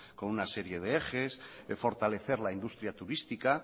con una serie de ejes de fortalecer la industria turística